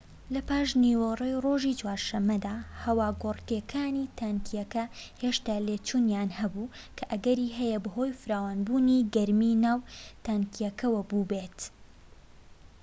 لە پاشنیوەڕۆی ڕۆژی چوارشەمەدا هەواگۆڕکێکانی تانکیەکە هێشتا لێچوونیان هەبوو کە ئەگەری هەیە بەهۆی فراوانبوونی گەرمیی ناو تانکیەکەوە بووبێت